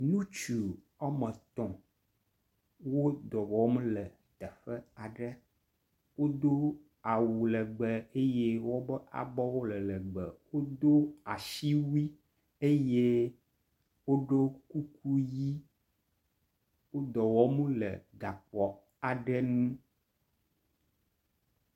ŋutsu wɔmetɔ̃ wó dɔwɔm le teƒe aɖe wodó awu legbe eye wóƒe abɔwo le legbe wodó asiwui eye woɖó kuku yi wó dɔwɔm le gaxɔ aɖe ŋu